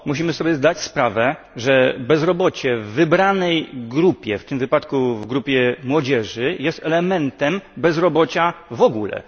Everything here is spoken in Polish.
Musimy sobie zdać sprawę, że bezrobocie w wybranej grupie, w tym przypadku w grupie młodzieży, jest elementem bezrobocia w ogóle.